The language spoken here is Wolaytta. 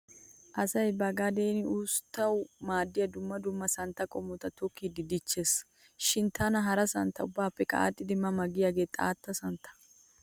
Asay ba gadeeni usttawu maaddiya dumma dumma santtaa qommota tokkidi dichchees. Shin tana hara santta ubbaappekka aadhdhidi ma ma giyagee xaatta santtaa.